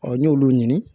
n ɲ'olu ɲini